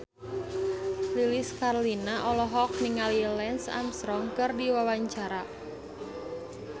Lilis Karlina olohok ningali Lance Armstrong keur diwawancara